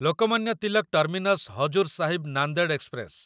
Lokmanya Tilak terminus Hazur Sahib Nanded express